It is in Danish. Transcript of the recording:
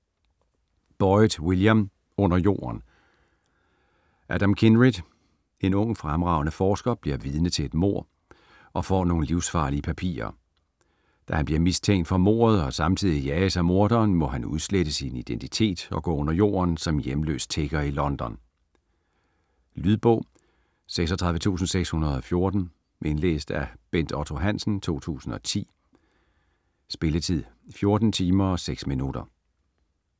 Boyd, William: Under jorden Adam Kindred, en ung, fremragende forsker, bliver vidne til et mord og får nogle livsfarlige papirer. Da han bliver mistænkt for mordet og samtidig jages af morderen, må han udslette sin identitet og gå under jorden som hjemløs tigger i London. Lydbog 36614 Indlæst af Bent Otto Hansen, 2010. Spilletid: 14 timer, 6 minutter.